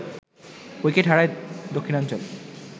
wicket হারায় দক্ষিণাঞ্চল